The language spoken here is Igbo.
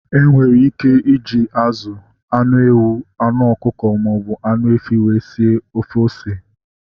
Enwere ike iji azụ, anụ ewu, anụ ọkụkọ maọbụ anụ efi wee sie ofe ose